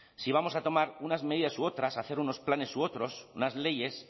si vamos a tomar unas medidas u otras hacer unos planes u otros unas leyes